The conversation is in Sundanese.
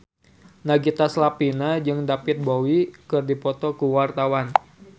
Nagita Slavina jeung David Bowie keur dipoto ku wartawan